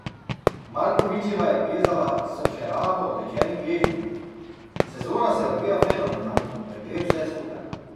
Markovičeva je plezala s še rahlo otečenim gležnjem: "Sezona se odvija fenomenalno, ker gre vse super.